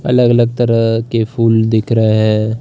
अलग-अलग तरह के फूल दिख रहे है।